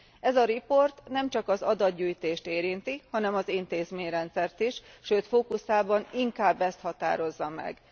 Ez a jelentés nemcsak az adatgyűjtést érinti, hanem az intézményrendszert is, sőt fókuszában inkább ezt határozza meg.